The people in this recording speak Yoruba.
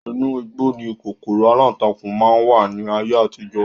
Inu igbó ni kòkòrò alántakùn máa ń wà ní ayé àtijọ́